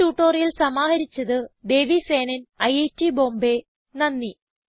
ഈ ട്യൂട്ടോറിയൽ സമാഹരിച്ചത് ദേവി സേനൻ ഐറ്റ് ബോംബേ നന്ദി